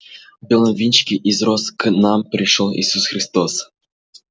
в белом венчике из роз к нам пришёл иисус христос